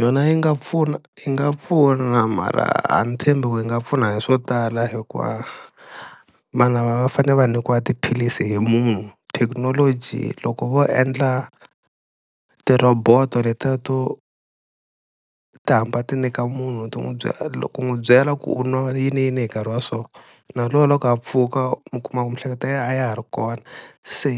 Yona yi nga pfuna yi nga pfuna mara a ni tshembi ku yi nga pfuna hi swo tala hikuva vanhu lava va fanele va nyikiwa tiphilisi hi munhu, thekinoloji loko vo endla tirhoboto letiya to ti hamba ti nyika munhu ti n'wu byela ku n'wi byela ku u nwa yini yini hi nkarhi wa so, na loko a pfuka mi kuma ku miehleketo ya yehe a ya ha ri kona, se